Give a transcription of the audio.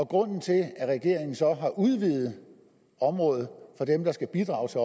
grunden til at regeringen så har udvidet området for dem der skal bidrage til